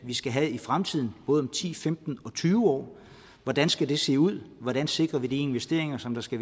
vi skal have i fremtiden både om ti femten og tyve år hvordan skal det se ud hvordan sikrer vi de investeringer som der skal